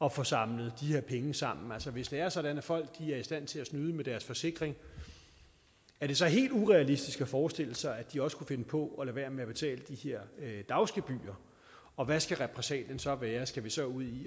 at få samlet de her penge sammen altså hvis det er sådan at folk er i stand til at snyde med deres forsikring er det så helt urealistisk at forestille sig at de også kunne finde på at lade være med at betale de her dagsgebyrer og hvad skal repressalien så være skal vi så ud i